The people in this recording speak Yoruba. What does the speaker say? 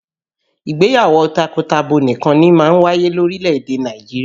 Ìgbéyàwó takọtabo nìkan ni máa ń wáyé ní orílè-èdè Nàìjirià